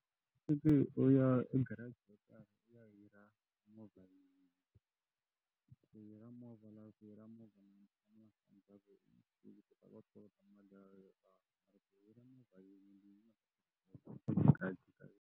Fiki u ya garage yo karhi u ya hira movha ene ku hira movha lowu ku hira movha .